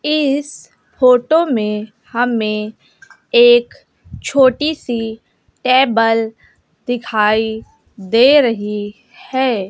इस फोटो में हमें एक छोटी सी टेबल दिखाई दे रही है।